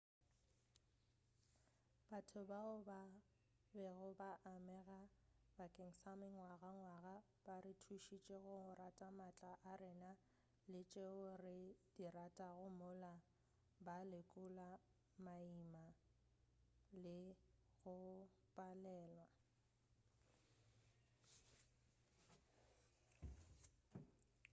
batho bao ba bego ba amega bakeng sa mengwagangwaga ba re thušitše go rata maatla a rena le tšeo re di ratago mola ba lekola maima le go palelwa